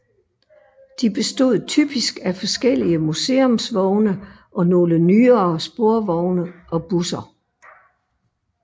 De bestod typisk af forskellige museumsvogne og nogle nyere sporvogne og busser